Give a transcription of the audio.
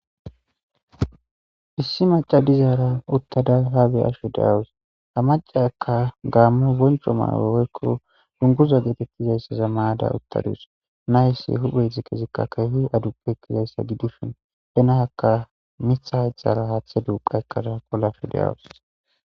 Issi macca dizaaraa uththada haa be7ashe de7awus; ha macciyaakka gaammo bonchcho maayo woykko dungguza geetheththiza maa7ada uththa dawus; na7essi huuphee ziqiziqaakka keehi aduqqizayssa gidishin miththa hayththaara haaththa duuqqa ekkada olashe de7awus.